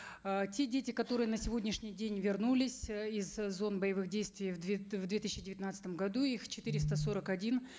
э те дети которые на сегодняшний день вернулись э из зон боевых действий в две в две тысячи девятнадцатом году их четыреста сорок один